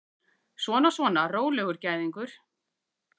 Svona, svona, rólegur gæðingur!